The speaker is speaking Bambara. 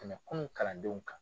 Tɛmɛ kunun kalandenw kan